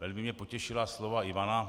Velmi mě potěšila slova Ivana.